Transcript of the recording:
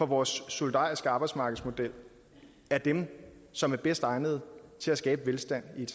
vores solidariske arbejdsmarkedsmodel er dem som er bedst egnet til at skabe velstand i et